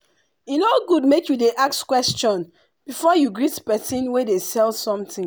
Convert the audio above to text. e no good make you dey ask question before you greet persin wey dey sell something.